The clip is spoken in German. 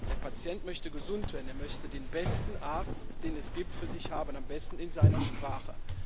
Der Patient möchte gesund werden, er möchte den besten Arzt, den es gibt, für sich haben, am besten in seiner Sprache.